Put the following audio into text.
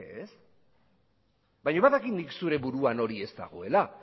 ez baina badakit nik zure buruan hori ez dagoela